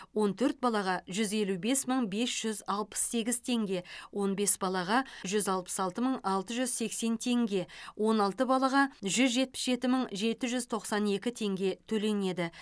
он төрт балаға жүз елу бес мың бес жүз алпыс сегіз теңге он бес балаға жүз алпыс алты мың алты жүз сексен теңге он алты балаға жүз жетпіс жеті мың жеті жүз тоқсан екі теңге төленеді